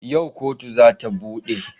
Yau kotu za ta bude?